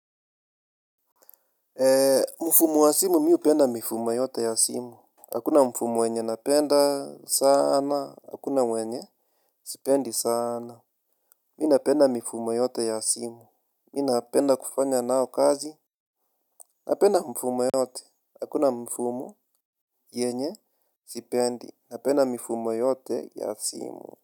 Mfumo wa simu mimi hupenda mifumo yote ya simu. Hakuna mfumo wenye napenda sana, hakuna wenye sipendi sana. Mimi napenda mifumo yote ya simu. Mimi napenda kufanya nao kazi. Napenda mfumo yote, hakuna mfumo yenye sipendi, napenda mifumo yote ya simu.